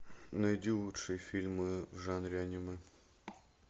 найди лучшие фильмы в жанре анимэ